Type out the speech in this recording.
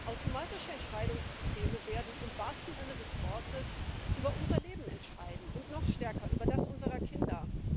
Automatische Entscheidungssysteme werden im wahrsten Sinne des Wortes über unser Leben entscheiden, und noch stärker über das unserer Kinder.